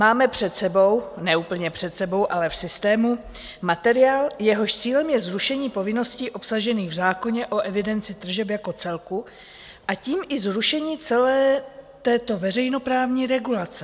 Máme před sebou - ne úplně před sebou, ale v systému - materiál, jehož cílem je zrušení povinností obsažených v zákoně o evidenci tržeb jako celku, a tím i zrušení celé této veřejnoprávní regulace.